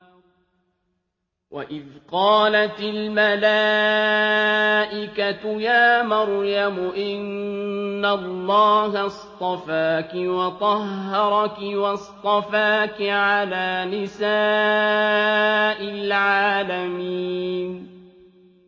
وَإِذْ قَالَتِ الْمَلَائِكَةُ يَا مَرْيَمُ إِنَّ اللَّهَ اصْطَفَاكِ وَطَهَّرَكِ وَاصْطَفَاكِ عَلَىٰ نِسَاءِ الْعَالَمِينَ